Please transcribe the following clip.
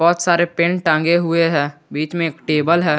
बहुत सारे पेन टांगे हुए हैं बीच में एक टेबल है।